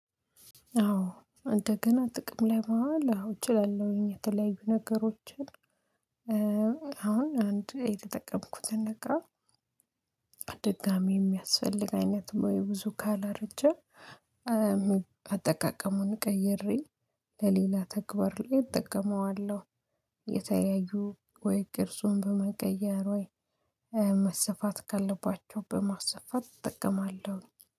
አዎ እንደገና ጥቅም ላይ ማዋል እችላለሁኝ። የተለያዩ ነገሮችን አሁን አንድ የተጠቀምኩትን እቃ ድጋሚ የሚያስፈልግ አይነት ወይ ብዙ ካላረጀ አጠቃቀሙን ቀይሬ ለሌላ ተግባር ላይ እጠቀመዋለሁ። የተለያዩ ወይ ቅርጹን በመቀየር፣ ወይ መሰፋት ካለባቸው በማሰፋት እጠቀማለሁ።